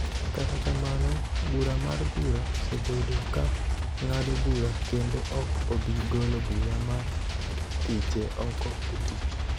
Kata kamano, bura mar bura osebedo ka ng�ado bura kendo ok obi golo bura mar thiche oko e tich